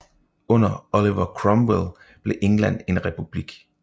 Under Oliver Cromwell blev England en republik